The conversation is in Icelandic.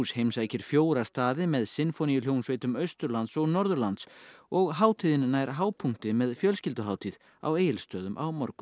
heimsækir fjóra staði með sinfóníuhljómsveitum Austurlands og Norðurlands og hátíðin nær hápunkti með fjölskylduhátíð á Egilsstöðum á morgun